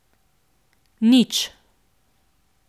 Nič.